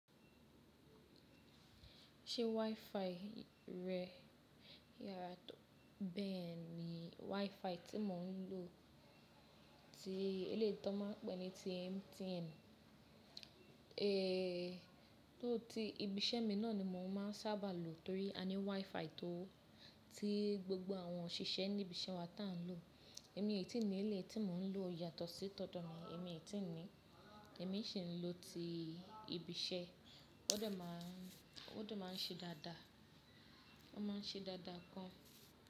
Ṣé WiFi rẹ yàrá tó bẹ́ẹ̀ ni WiFi tí mò ń lò tí eléyi to n máa ń pè ní ti MTN. Eeé, tó ti ibi iṣẹ́ mi náà ni mò ń máa sábà lò torí a ní WiFi tó tí gbogbo àwọn òṣìṣẹ́ níbi iṣẹ́ wa tá n lò. Ẹ̀mí ètì ní ilé yin ti mò ń lò yàtọ̀ sí tọ̀do ni ẹ̀mí ètì ni. Ẹ̀mí sì ń lò ti ibi iṣẹ́, ó de máa ń ṣe dáadáa, ó máa ń ṣe dáadáa gan.